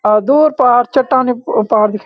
अ दूर पार चट्टानी कु पहाड़ दिखे --